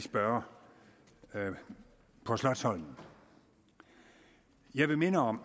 spørge på slotsholmen jeg vil minde om